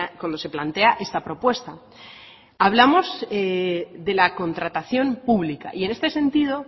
cuando se plantea esta propuesta hablamos de la contratación pública y en este sentido